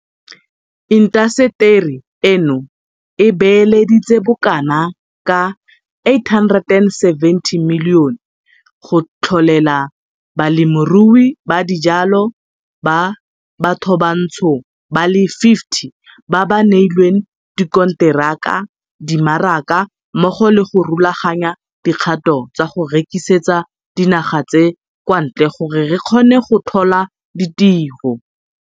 Intaseteri eno e beeleditse bokanaka R870 milione go tlholela balemirui ba dijalo ba bathobantsho ba le 50 ba ba neilweng dikonteraka dimaraka mmogo le go rulaganya dikgato tsa go rekisetsa dinaga tsa kwantle gore re kgone go tlhola ditiro.